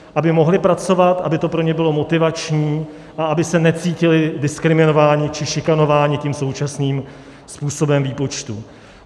Aby mohli pracovat, aby to pro ně bylo motivační a aby se necítili diskriminováni či šikanováni tím současným způsobem výpočtu.